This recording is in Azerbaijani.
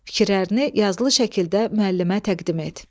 Fikirlərini yazılı şəkildə müəllimə təqdim et.